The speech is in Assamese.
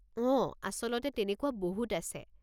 অঁ, আচলতে তেনেকুৱা বহুত আছে।